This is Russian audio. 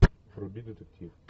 вруби детектив